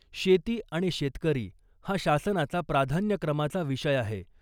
शेती आणि शेतकरी हा शासनाचा प्राधान्यक्रमाचा विषय आहे .